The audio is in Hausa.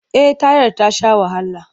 Eh tayar ta sha wahala.